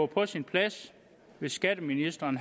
på sin plads hvis skatteministeren